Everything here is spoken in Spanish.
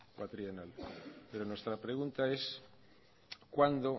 pero nuestra pregunta es cuándo